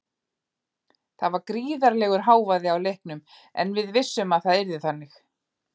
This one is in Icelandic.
Það var gríðarlegur hávaði á leiknum en við vissum að það yrði þannig.